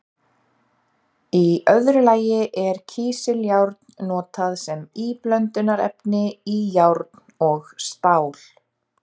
Í öðru lagi er kísiljárn notað sem íblöndunarefni í járn og stál.